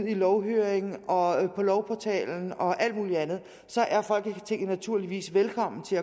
i lovhøring og på lovportalen og alt muligt andet så er folketinget naturligvis velkommen til